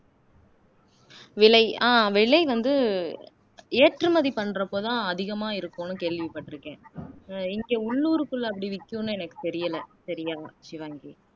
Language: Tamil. விலை அஹ் விலை வந்து ஏற்றுமதி பண்றப்ப தான் அதிகமா இருக்கும்னு கேள்விப்பட்டிருக்கேன் அஹ் இங்க உள்ளூர்க்குள்ள அப்படி விக்கும்னு எனக்கு தெரியல சரியா ஷிவாங்கி